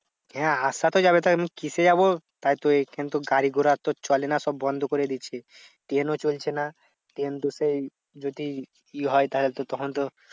হ্যাঁ আসা তো যাবে এখন কিসে যাবো তাই তো এখান তো গাড়ি ঘোড়া তো চলে না সব বন্ধ করে দিয়েছে। ট্রেন ও চলছে না। ট্রেন তো সেই যদি কি হয় তাহলে তো তখন তো